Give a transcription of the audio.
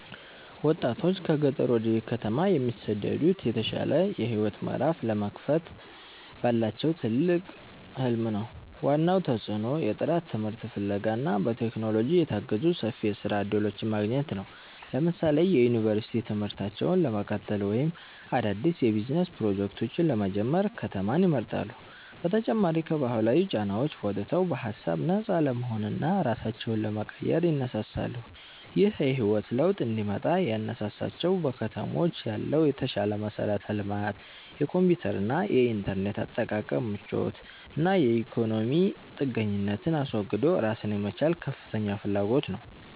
ወጣቶች ከገጠር ወደ ከተማ የሚሰደዱት የተሻለ የህይወት ምዕራፍ ለመክፈት ባላቸው ትልቅ ህልም ነው። ዋናው ተጽዕኖ የጥራት ትምህርት ፍለጋ እና በቴክኖሎጂ የታገዙ ሰፊ የስራ እድሎችን ማግኘት ነው። ለምሳሌ የዩኒቨርሲቲ ትምህርታቸውን ለመቀጠል ወይም አዳዲስ የቢዝነስ ፕሮጀክቶችን ለመጀመር ከተማን ይመርጣሉ። በተጨማሪም ከባህላዊ ጫናዎች ወጥተው በሃሳብ ነፃ ለመሆንና ራሳቸውን ለመቀየር ይነሳሳሉ። ይህ የህይወት ለውጥ እንዲመጣ ያነሳሳቸው በከተሞች ያለው የተሻለ መሠረተ ልማት፣ የኮምፒውተርና የኢንተርኔት አጠቃቀም ምቾት እና የኢኮኖሚ ጥገኝነትን አስወግዶ ራስን የመቻል ከፍተኛ ፍላጎት ነው